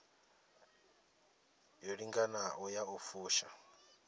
yo linganaho ya u fusha